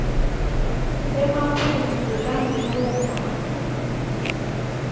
emaphuzu langiwo mbamba